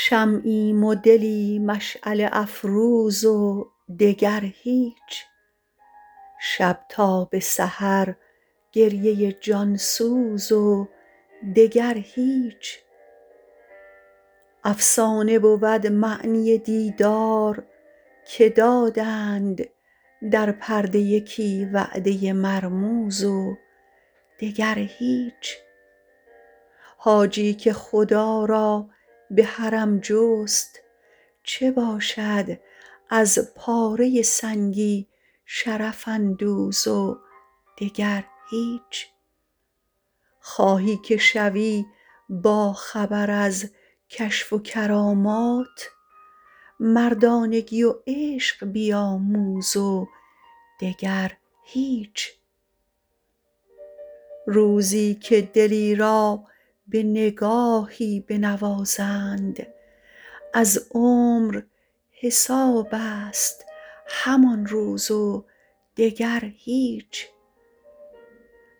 شمعیم و دلی مشعله افروز و دگر هیچ شب تا به سحر گریه جانسوز و دگر هیچ افسانه بود معنی دیدار که دادند در پرده یکی وعده مرموز و دگر هیچ حاجی که خدا را به حرم جست چه باشد از پاره سنگی شرف اندوز و دگر هیچ خواهی که شوی باخبر ازکشف و کرامات مردانگی و عشق بیاموز و دگر هیچ روزی که دلی را به نگاهی بنوازند از عمر حسابست همان روز و دگر هیچ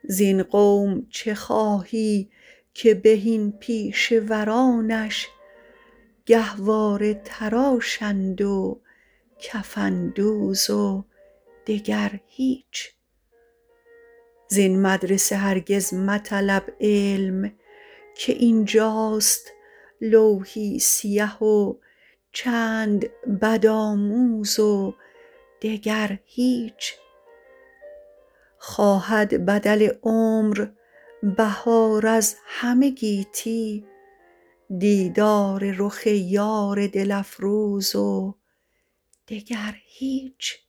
زین قوم چه خواهی که بهین پیشه ورانش گهواره تراشند و کفن دوز و دگر هیچ زین مدرسه هرگز مطلب علم که اینجاست لوحی سیه و چند بدآموز و دگر هیچ خواهد بدل عمر بهار از همه گیتی دیدار رخ یار دل افروز و دگر هیچ